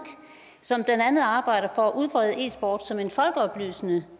som blandt andet arbejder for at udfolde e sport som en folkeoplysende